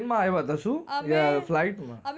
train માં આવ્યા હતા કાં એ શૂ કે flight માં